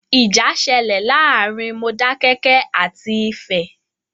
Ìjà ṣẹlẹ̀ láàárín Modákẹ́kẹ́ àti Ifẹ̀.